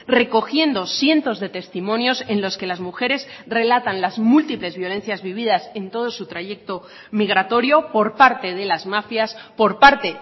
recogiendo cientos de testimonios en los que las mujeres relatan las múltiples violencias vividas en todo su trayecto migratorio por parte de las mafias por parte